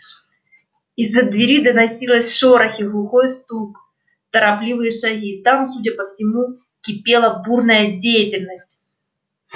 из-за двери доносились шорохи глухой стук торопливые шаги там судя по всему кипела бурная деятельность